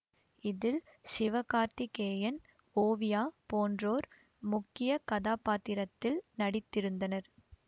இதில் சிவ கார்த்திகேயன் ஓவியா போன்றோர் முக்கிய கதாப்பாத்திரத்தில் நடித்திருந்தனர்